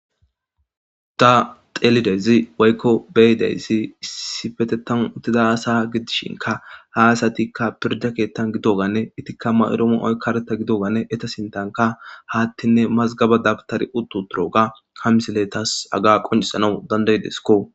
Da xelidezi waykko beyidayssi issi fetetan uttida asa gidishinka haasatikka pirda keettan gidoganne itikka mayroomo oykkareta gidogane eta sintanka haattinne mazgaba dabtari uttu turoga kamsile tas aga qoncisanau dandayideskko.